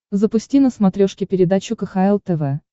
запусти на смотрешке передачу кхл тв